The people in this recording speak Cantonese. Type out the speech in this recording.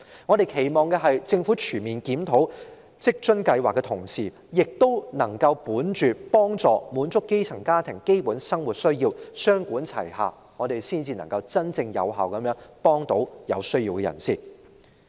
我們期望政府全面檢討在職家庭津貼計劃的同時，亦能考慮幫助並滿足基層家庭的基本生活需要，雙管齊下，這樣才能真正有效地幫助有需要的人士。